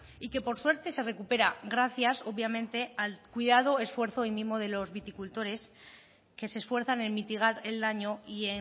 y que por suerte se recupera gracias obviamente al cuidado esfuerzo y mimo de los viticultores que se esfuerzan en mitigar el daño y